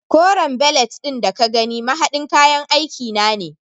Koren belet ɗin da ka gani mahaɗin kayan aiki na ne.